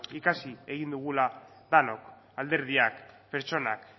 ikasi egin dugula denok alderdiak pertsonak